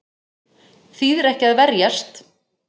Þýðir ekki að verjast